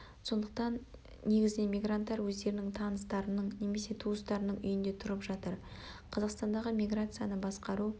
сондықтан негізінен мигранттар өздерінің таныстарының немесе туыстарының үйінде тұрып жатыр қазақстандағы миграцияны басқару